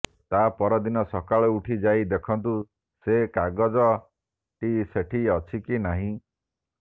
ତାପର ଦିନ ସକାଳୁ ଉଠି ଯାଇ ଦେଖନ୍ତୁ ସେ କାଗଜ ଟି ସେଠି ଅଛି କି ନାହିଁ